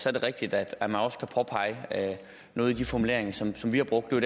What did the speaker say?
er det rigtigt at man også kan påpege noget i de formuleringer som vi har brugt det er